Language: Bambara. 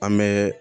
An bɛ